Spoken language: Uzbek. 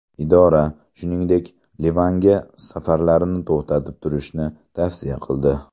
Idora, shuningdek, Livanga safarlarni to‘xtatib turishni tavsiya qildi.